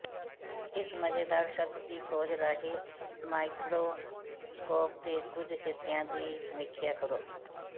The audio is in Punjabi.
ਇਸ ਮਜ਼ੇਦਾਰ ਸ਼ਬਦ ਦੀ ਖੋਜ ਰਾਹੀਂ ਮਾਈਕ੍ਰੋਸਕੋਪ ਦੇ ਕੁਝ ਹਿੱਸਿਆਂ ਦੀ ਸਮੀਖਿਆ ਕਰੋ